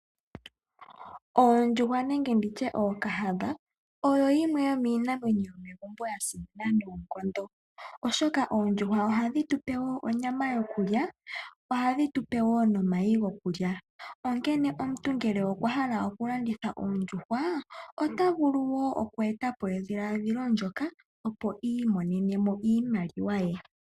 Oondjuhwa nenge nditye ookahadha, odho dhimwe dhomiinamwenyo mbyoka ya simama noonkondo. Oondjuhwa ohadhi tupe onyama yokulya, oshowo omayi gokulya. Onkene omuntu ngele okwahala okulanditha oondjuhwa, otavulu oku etapo edhiladhilo ndyoka, opo iimonene mo iimaliwa ye.